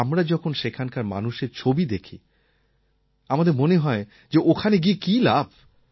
আমরা যখন সেখানকার মানুষের ছবি দেখি আমাদের মনে হয় যে ওখানে গিয়ে কী লাভ